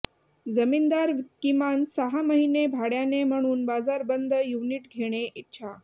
जमीनदार किमान सहा महिने भाड्याने म्हणून बाजार बंद युनिट घेणे इच्छा